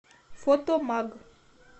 фотомаг